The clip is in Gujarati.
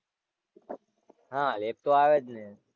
હાં lab તો આવે જ ને.